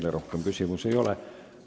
Teile rohkem küsimusi ei ole.